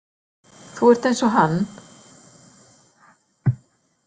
Þú ert eins og hann.